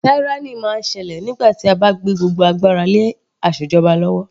Tyranny máa ń ṣẹlẹ̀ nígbà tí a bá gbé gbogbo agbára lé asèjọba lọ́wọ́.